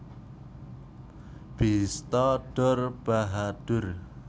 Bista Dor Bahadur